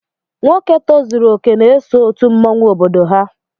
Nwoke tozuru okè n'eso òtù mmọnwu obodo ha.